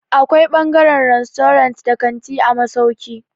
Akwai ɓangaren rastorant da kanti a masauki.